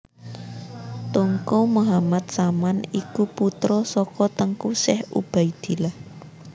Teungku Muhammad Saman iku putra saka Teungku Syekh Ubaidillah